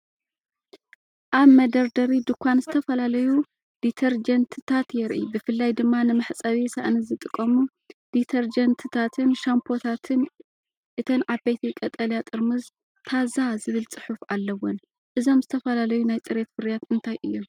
ኣብ መደርደሪ ድኳን ዝተፈላለዩ ዲተርጀንትታት የርኢ፤ ብፍላይ ድማ ንመሕጸቢ ሳእኒ ዝጥቀሙ ዲተርጀንትታትን ሻምፖታትን። እተን ዓበይቲ ቀጠልያ ጥርሙዝ "ታዛ" ዝብል ጽሑፍ ኣለወን። እዞም ዝተፈላለዩ ናይ ጽሬት ፍርያት እንታይ እዮም?